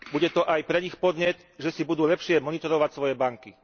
Bude to aj pre nich podnet, že si budú lepšie monitorovať svoje banky.